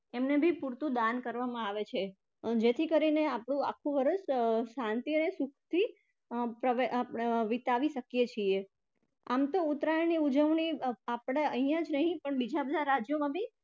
એમને પણ પુરતું દાન કરવામાં આવે છે જેથી કરીને આપણું આખું વર્ષ અર શાંતિ અને સુખથી અર વિતાવી શકીએ છીએ. આમ તો ઉત્તરાયણની અર ઉજવણી આપણે અહિયાં જ નહિ પણ બીજા બધા રાજ્યોમાં